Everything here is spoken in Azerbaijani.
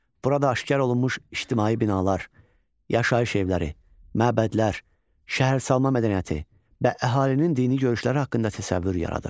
Burada aşkar olunmuş ictimai binalar, yaşayış evləri, məbədlər, şəhərsalma mədəniyyəti və əhalinin dini görüşləri haqqında təsəvvür yaradır.